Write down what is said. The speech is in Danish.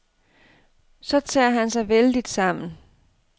Så tager han sig vældigt sammen.